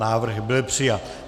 Návrh byl přijat.